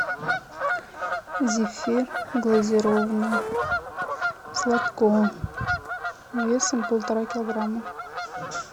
зефир глазированный сладко весом полтора килограмма